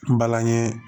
N balani